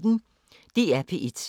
DR P1